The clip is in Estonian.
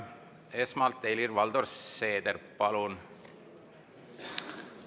Esmalt Helir-Valdor Seeder, palun!